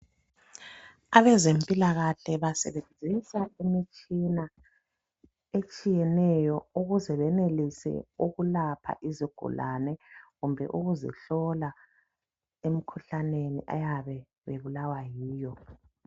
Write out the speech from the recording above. Abezempilakahle basebenzisa imitshina etshiyeneyo ukuze benelise ukwelapha izigulane kumbe ukuzihlola kumikhuhlane eyabe izihlasele.